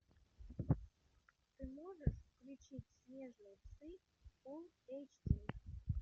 ты можешь включить снежные псы фулл эйч ди